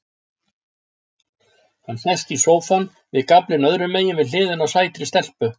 Hann sest í sófann, við gaflinn öðrumegin við hliðina á sætri stelpu.